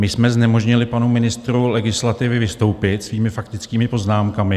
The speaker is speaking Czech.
My jsme znemožnili panu ministru legislativy vystoupit svými faktickými poznámkami.